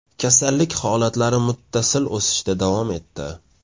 Kasallik holatlari muttasil o‘sishda davom etdi.